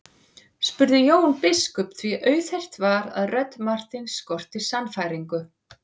spurði Jón biskup því auðheyrt var að rödd Marteins skorti sannfæringu.